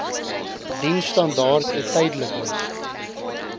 diensstandaard n tydelike